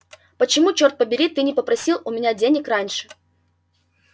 почему чёрт побери ты не попросил у меня денег раньше